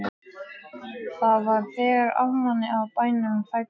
Það var þegar amman á bænum fæddist.